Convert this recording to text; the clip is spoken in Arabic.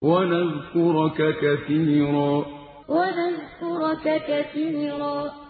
وَنَذْكُرَكَ كَثِيرًا وَنَذْكُرَكَ كَثِيرًا